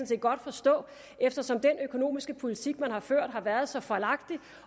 set godt forstå eftersom den økonomiske politik man har ført har været så fejlagtig